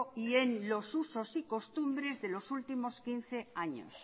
y en los usos y costumbres de los últimos quince años